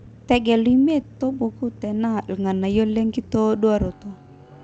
tegelu imiet torbuku tenaa irr`nganayio le nkitoduaroto